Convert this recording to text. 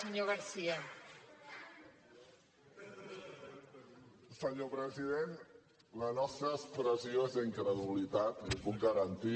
senyor president la nostra expressió és d’incredulitat l’hi puc garantir